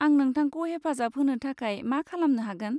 आं नोंथांखौ हेफाजाब होनो थाखाय मा खालामनो हागोन?